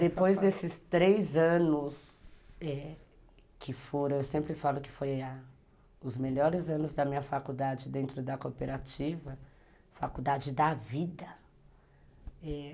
Depois desses três anos eh que foram, eu sempre falo que foram os melhores anos da minha faculdade dentro da cooperativa, faculdade da vida, é...